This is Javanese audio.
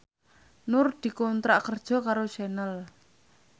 Nur dikontrak kerja karo Channel